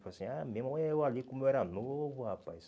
falar assim Ah, meu irmão, eu ali como eu era novo, rapaz.